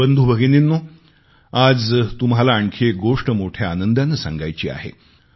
बंधू भगिनिंनो आज तुम्हाला आणखी एक गोष्ट मोठ्या आनंदाने सांगायची आहे